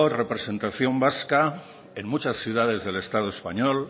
representación vasca en muchas ciudades del estado español